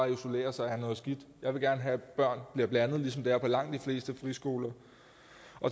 isolerer sig er noget skidt jeg vil gerne have at børn bliver blandet ligesom det er på langt de fleste friskoler